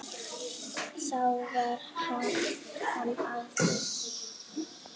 Þá var hann afi.